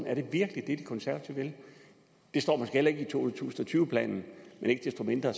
er det virkelig det de konservative vil det står måske heller ikke i to tusind og tyve planen men ikke desto mindre